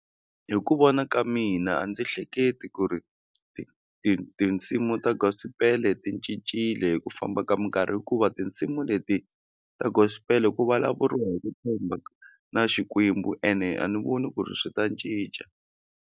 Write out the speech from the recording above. Hi ku vona ka mina a ndzi hleketi ku ri ti ti tinsimu ta Gospel ti cincile hi ku famba ka minkarhi hikuva tinsimu leti ta Gospel ku vulavuriwa hi ku na Xikwembu ene a ni voni ku ri swi ta cinca.